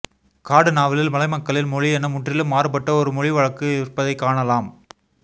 காடு நாவலில் மலைமக்களின் மொழியென முற்றிலும் மாறுபட்ட ஒரு மொழிவழக்கு இருப்பதைக்காணலாம்